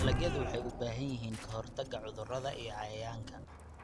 Dalagyadu waxay u baahan yihiin ka-hortagga cudurrada iyo cayayaanka.